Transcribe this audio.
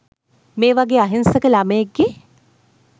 මේ වගේ අහිංසක ළමයෙක්ගේ